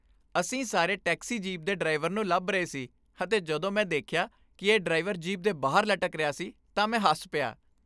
ਅਸੀਂ ਸਾਰੀ taxi jeep ਦੇ ਡਰਾਈਵਰ ਨੂੰ ਲੱਭ ਰਹੇ ਸੀ ਅਤੇ ਜਦੋਂ ਮੈਂ ਦੇਖਿਆ ਕਿ ਇਹ ਡਰਾਈਵਰ ਜੀਪ ਦੇ ਬਾਹਰ ਲਟਕ ਰਿਹਾ ਸੀ ਤਾਂ ਮੈਂ ਹੱਸ ਪਿਆ।